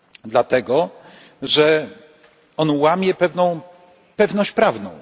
Dlatego, że on łamie pewną pewność prawną.